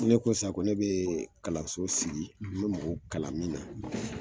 Ni ne ko san, ko ne bi kalanso sigi, n bɛ mɔgɔw kalan min na